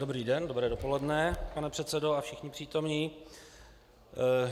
Dobrý den, dobré dopoledne pane předsedo a všichni přítomní.